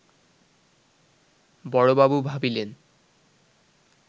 বড়বাবু ভাবিলেন